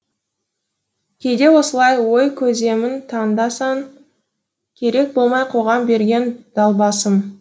кейде осылай ой кеземін таңда сан керек болмай қоғам берген далбасам